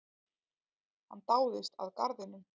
Hann dáðist að garðinum.